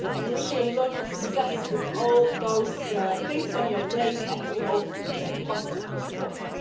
We wish you a lot of success with all those things on your plate and we hope to be positively surprised.